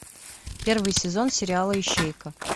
первый сезон сериала ищейка